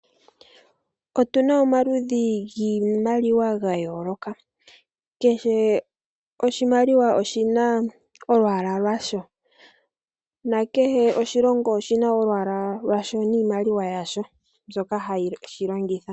Otuna omaludhi giimaliwa ga yooloka. Kehe oshimaliwa oshina olwaala lwasho, na kehe oshilongo oshina olwaala lwasho niimaliwa yasho mbyoka hashi longitha.